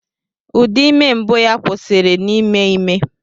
Ụdị ime mbụ ya kwụsịrị n'ime ime.